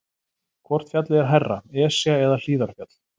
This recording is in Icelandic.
Hvort fjallið er hærra, Esja eða Hlíðarfjall?